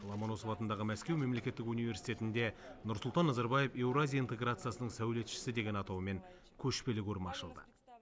ломоносов атындағы мәскеу мемлекеттік университетінде нұрсұлтан назарбаев еуразия интеграциясының сәулетшісі деген атаумен көшпелі көрме ашылды